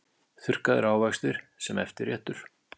Þurrkaðir ávextir sem eftirréttur